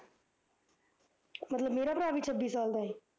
ਮਤਲਬ ਮੇਰਾ ਭਰਾ ਵੀ ਛੱਬੀ ਸਾਲਾ ਦਾ ਐ